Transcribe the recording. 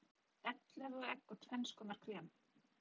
Ellefu egg og tvenns konar krem.